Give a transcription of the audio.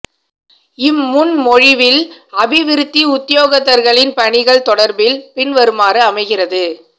இம் முன் மொழிவில் அபிவிருத்தி உத்தியொகத்தர்களின் பணிகள் தொடர்பில் பின்வருமாறு அமைகிறது